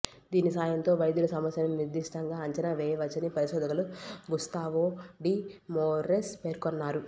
దీని సాయంతో వైద్యులు సమస్యను నిర్దిష్టంగా అంచనా వేయవచ్చని పరిశోధకులు గుస్తావో డి మొరేస్ పేర్కొన్నారు